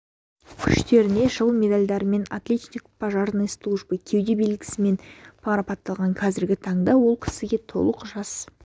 күштеріне жыл медальдарымен отличник пожарной службы кеуде белгісімен марапатталған қазіргі таңда ол кісіге толық жас